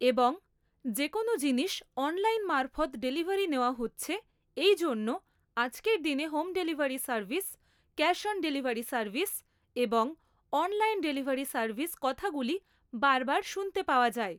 এবং যেকোনো জিনিস অনলাইন মারফৎ ডেলিভারি নেওয়া হচ্ছে এই জন্য আজকের দিনে home delivery service cash on delivery service এবং অনলাইন ডেলিভারি সার্ভিস কথাগুলি বারবার শুনতে পাওয়া যায়